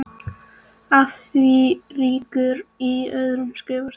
Að því rekur í öðru skrifi síðar.